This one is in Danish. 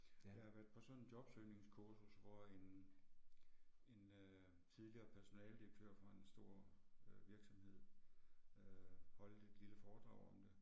Jeg har været på sådan et jobsøgningskursus hvor en en øh tidligere personaledirektør fra en stor øh virksomhed øh holdt et lille foredrag om det